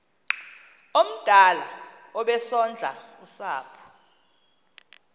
omdala obesondla usapho